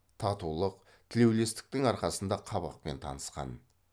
татулық тілеулестіктің арқасында қабақпен танысқан